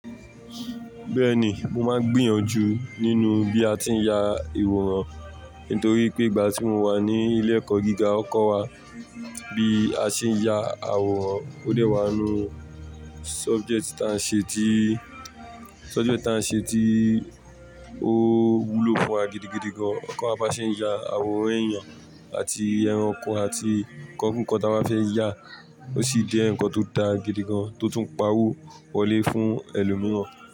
Bẹ́ẹ̀ ni, mo máa ń gbìyànjú nínú bí a ti ń ya ìwòran, nítorí pé ìgbà tí mo wà ní ilé ẹ̀kọ́ gíga, wón kọ́ wa bí a ṣe ń ya àwòrán. Ó dẹ̀ wá nu subject táa ń ṣe tí, subject táa ń ṣe tí ó wúlò fún wa gidigidi gan. Won kọ́ kí a bá ṣe ń ya àwòrán èèyàn àti ẹranko àti nkan kin nǹkan táa ba fẹ́ yà, ó sì jẹ́ ǹkan tó da gidigan, tó tún pa wò wọlé fún ẹlòmíràn.